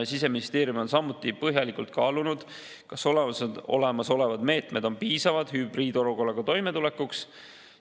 Siseministeerium on samuti põhjalikult kaalunud, kas olemasolevad meetmed on piisavad hübriid olukorras toimetulekuks.